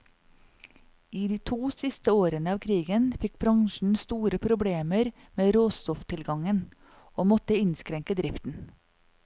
I de to siste årene av krigen fikk bransjen store problemer med råstofftilgangen, og måtte innskrenke driften.